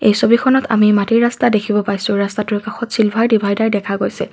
এই ছবিখনত আমি মাটিৰ ৰাস্তা দেখিব পাইছোঁ ৰাস্তাটোৰ কাষত চিলভাৰ ডিভাইদাৰ দেখা গৈছে।